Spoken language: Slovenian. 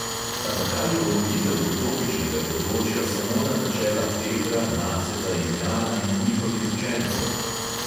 A zakaj je omejitev utopičnega področja samo na načela petra, naceta in jana in njihovih učencev?